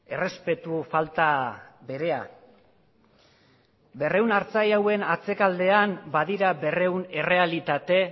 errespetu falta berea berrehun artzain hauen atzekaldean badira berrehun errealitate